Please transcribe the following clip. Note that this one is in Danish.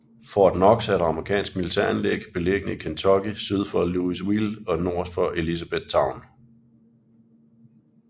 Fort Knox er et amerikansk militæranlæg beliggende i Kentucky syd for Louisville og nord for Elizabethtown